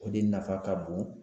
O de nafa ka bon